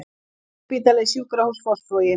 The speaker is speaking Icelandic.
Landsspítali Sjúkrahús Fossvogi